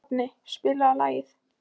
Hafni, spilaðu lag.